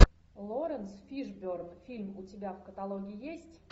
лоренс фишберн фильм у тебя в каталоге есть